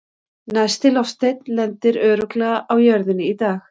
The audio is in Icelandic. Næsti loftsteinn lendir örugglega á jörðinni í dag!